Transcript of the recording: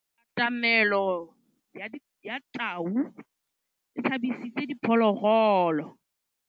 Katamêlô ya tau e tshabisitse diphôlôgôlô.